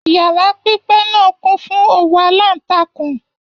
Yàrá pipẹ náà kún fún òwú alantakun